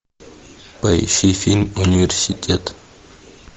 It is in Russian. поищи фильм университет